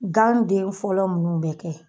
Gan den fɔlɔ minnu bɛ kɛ